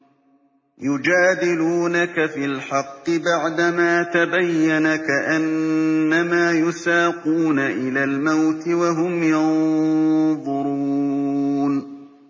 يُجَادِلُونَكَ فِي الْحَقِّ بَعْدَمَا تَبَيَّنَ كَأَنَّمَا يُسَاقُونَ إِلَى الْمَوْتِ وَهُمْ يَنظُرُونَ